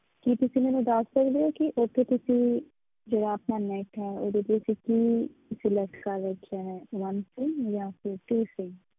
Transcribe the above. ਕੀ ਤੁਸੀਂ ਮੈਨੂੰ ਦੱਸ ਸਕਦੇ ਹੋ ਕਿ ਉੱਥੇ ਤੁਸੀਂ ਜਿਹੜਾ ਆਪਣਾ net ਹੈ ਉਹਦੇ ਤੇ ਕੀ select ਕਰ ਰੱਖਿਆ ਹੈ one sim ਜਾਂ ਫਿਰ two sim